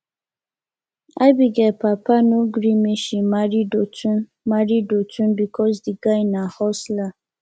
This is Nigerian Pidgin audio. abigail papa no gree make she marry dotun marry dotun because the guy na hustler